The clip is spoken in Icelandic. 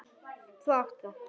Þú átt það.